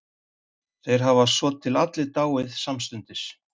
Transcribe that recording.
Þeir hafa svotil allir dáið samstundis.